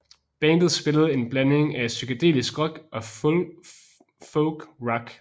Bandet spillede en blanding af psykedelisk rock og folkrock